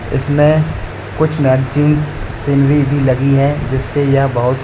इसमें कुछ magazines scenery भी लगी है जिससे यह बहुत--